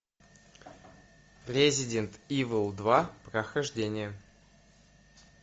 резидент ивл два прохождение